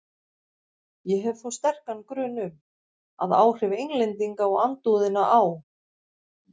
Ég hef þó sterkan grun um, að áhrif Englendinga og andúðina á